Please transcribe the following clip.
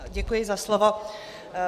Děkuji za slovo.